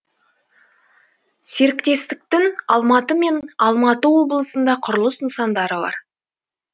серіктестіктің алматы мен алматы облысында құрылыс нысандары бар